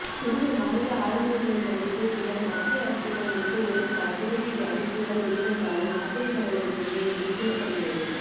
மூன்று மாநில ஆளுனர்களின் சந்திப்பு பின்னர் மத்திய அரசிடம் இருந்து ஒருசில அதிரடி அறிவிப்புகள் வெளிவந்தாலும் ஆச்சரியப்படுவதற்கில்லை என்று கூறப்படுகிறது